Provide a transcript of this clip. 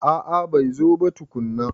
A'a bai zo ba tukunna.